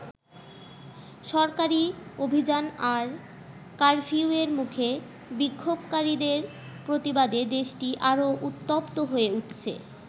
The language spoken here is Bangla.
সরকারি অভিযান আর কারফিউয়ের মুখে বিক্ষোভকারীদের প্রতিবাদে দেশটি আরো উত্তপ্ত হয়ে উঠছে।